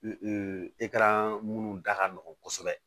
minnu da ka nɔgɔn kosɛbɛ